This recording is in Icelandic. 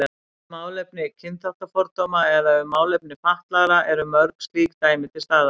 Um málefni kynþáttafordóma eða um málefni fatlaðra eru mörg slík dæmi til staðar.